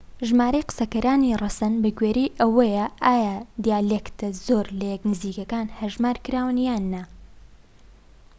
ژمارەی قسەکەرانی ڕەسەن بەگوێرەی ئەوەیە ئایا دیالێکتە زۆر لە یەک نزیکەکان هەژمار کراون یان نا